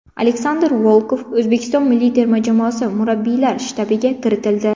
Aleksandr Volkov O‘zbekiston milliy terma jamoasi murabbiylar shtabiga kiritildi.